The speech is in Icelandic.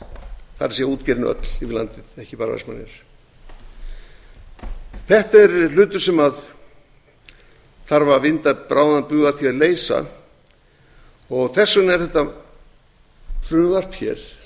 það er útgerðin öll yfir landið ekki bara vestmannaeyjar þetta er hlutur sem þarf að vinda bráðan bug að því að leysa og þess vegna var þetta frumvarp hér